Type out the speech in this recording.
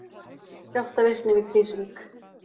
Skjálftavirkni við Krýsuvík